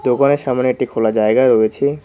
দোকানের সামনে একটি খোলা জায়গা রয়েছে।